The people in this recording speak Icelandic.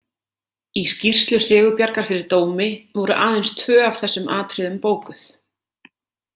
Í skýrslu Sigurbjargar fyrir dómi voru aðeins tvö af þessum atriðum bókuð.